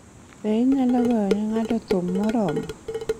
Be inyalo goyo ne ng'ato thum moro?